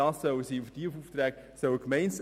Das Hundegesetz ist ein solches Beispiel.